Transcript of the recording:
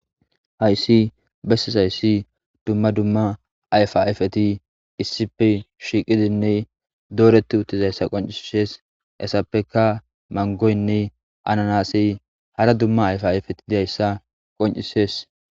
Hayssi bessesayssi dumma dumma ayfa ayfeti issipe shiiqidinne dooreti uttizayssa qoncisees esappeka mangoynne ananasi hara dumma ayfa ayfeti didayssa qoncisees.